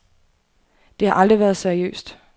Det har aldrig været seriøst.